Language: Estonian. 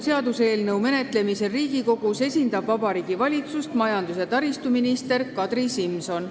Seaduseelnõu menetlemisel Riigikogus esindab Vabariigi Valitsust majandus- ja taristuminister Kadri Simson.